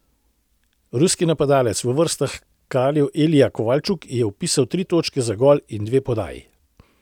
Ruski napadalec v vrstah kraljev Ilija Kovalčuk je vpisal tri točke za gol in dve podaji.